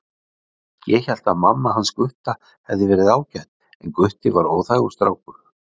Ég hélt að mamma hans Gutta hefði verið ágæt en Gutti væri óþægur strákur